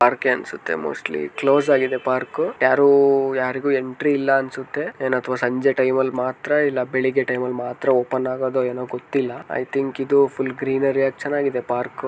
ಪಾರ್ಕೆ ಅನ್ಸತ್ತೆ mostly close ಆಗಿದೆ park ಯಾರು ಉಹ್ ಯಾರಿಗೂ ಎಂಟ್ರಿ ಇಲ್ಲ ಅನ್ಸತ್ತೆ ಎನ್ ಅತ್ವ ಸಂಜೆ ಟೈಮಲ್ ಮಾತ್ರ ಇಲ್ಲ ಬೆಳಿಗ್ಗೆ ಟೈಮಲ್ ಮಾತ್ರ ಓಪನ್ ಆಗೊದೊ ಎನೋ ಗೊತ್ತಿಲ್ಲ ಐ ತಿಂಕ್ ಇದು ಫುಲ್ ಗ್ರೀನರಿ ಆಗಿ ಚೆನಾಗಿದೆ ಪಾರ್ಕ್ .